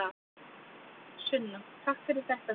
Sunna: Takk fyrir þetta Drífa.